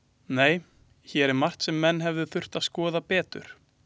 Nei, hér er margt sem menn hefðu þurft að skoða betur.